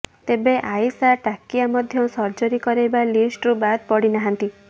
ତେବେ ଆଇସା ଟାକିୟା ମଧ୍ୟ ସର୍ଜରୀ କରାଇବା ଲିଷ୍ଟରୁ ବାଦ ପଡିନାହାନ୍ତି